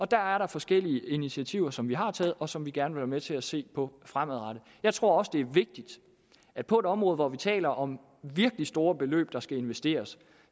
der er forskellige initiativer som vi har taget og som vi gerne vil være med til at se på fremadrettet jeg tror også det er vigtigt at på et område hvor vi taler om virkelig store beløb der skal investeres